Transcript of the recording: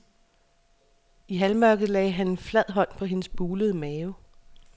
I halvmørket lagde han en flad hånd på hendes bulede mave.